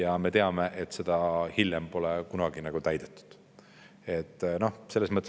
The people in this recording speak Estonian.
Aga me teame, et hiljem pole seda kunagi täidetud.